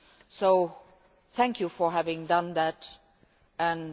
So thank you for having done that, and